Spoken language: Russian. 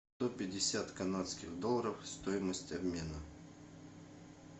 сто пятьдесят канадских долларов стоимость обмена